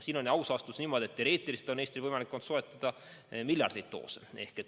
Siin on aus vastus niimoodi, et teoreetiliselt on Eestil olnud võimalik soetada miljardeid doose.